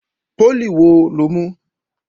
Pólì wo lo mú?